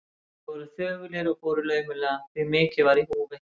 Þeir voru þögulir og fóru laumulega, því mikið var í húfi.